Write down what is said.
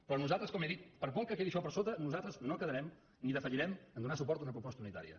però nosaltres com he dit per molt que quedi això per sota nos altres no quedarem ni defallirem en donar suport a una proposta unitària